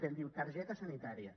diu targeta sanitària